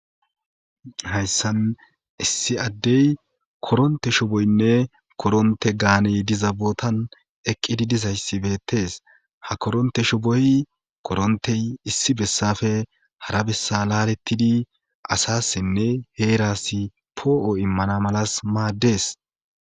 hayssan issi addey koronte shoboynne koronte gaaney dizabootan eqqidi dizayssi beettes ha koronte shuboy korontey issi bessafe hara bessa laalettidi asassinne heerasi poo7o immana malas maaddes